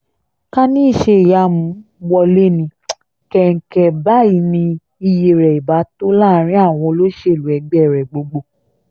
ká ní iṣẹ́-ìyamù wọlé ní kẹ̀ǹkẹ̀ báyìí ni iyì rẹ̀ ibà tó láàrin àwọn olóṣèlú ẹgbẹ́ rẹ̀ gbogbo